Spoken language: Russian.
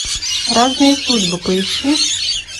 разные судьбы поищи